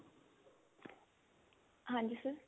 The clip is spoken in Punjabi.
ਹਾਂਜੀ sir